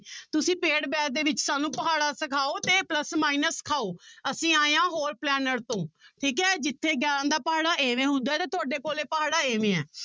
ਤੁਸੀਂ paid batch ਦੇ ਵਿੱਚ ਸਾਨੂੰ ਪਹਾੜਾ ਸਿਖਾਓ ਤੇ plus minus ਸਿਖਾਓ ਅਸੀਂ ਆਏ ਹਾਂ ਹੋਰ planet ਤੋਂ, ਠੀਕ ਹੈ ਜਿੱਥੇ ਗਿਆਰਾਂ ਦਾ ਪਹਾੜਾ ਇਵੇਂ ਹੁੰਦਾ ਹੈ ਤੇ ਤੁਹਾਡੇ ਕੋਲੇ ਪਹਾੜਾ ਇਵੇਂ ਹੈ।